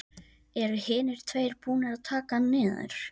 Eru hinir tveir búnir að taka hann niður.